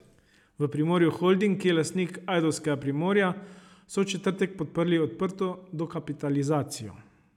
V Primorju Holding, ki je lastnik ajdovskega Primorja, so v četrtek podprli odprto dokapitalizacijo.